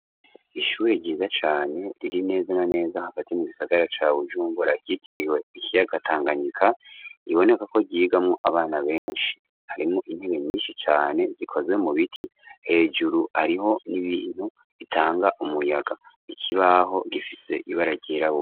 Ishure ryiza cane riri neza na neza hagati mu gisagara ca Bujumbura grytiriwe ikiyagatanganyika giboneka ko gigamo abana benshi harimo intebe nyinshi cane zikozwe mu biti hejuru ariho n'ibintu bitanga umuyaga ikibaho gifise ibara ryirabura.